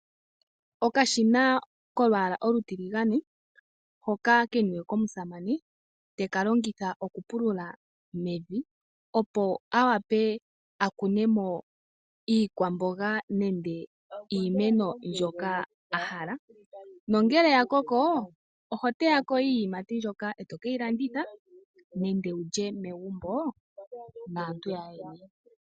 Okashina kolwaala olutiligane hoka keniwe komusamane teka longitha okupulula mevi, opo a wape a kunemo iikwamboga nenge iimeno mbyoka a hala. Nongele ya koko, oho teyako iiyimati mbyoka e to ke yi fanditha, nenge wulye megumbo naantu yaandjeni.